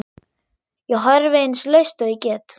Ég horfi eins laust og ég get.